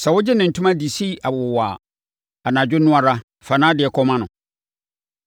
Sɛ wogye ne ntoma de si awowa a, anadwo no ara, fa nʼadeɛ kɔma no.